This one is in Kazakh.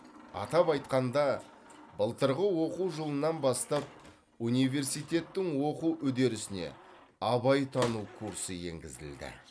атап айтқанда былтырғы оқу жылынан бастап университеттің оқу үдерісіне абайтану курсы енгізілді